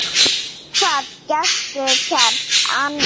Hvað gastu gert annað?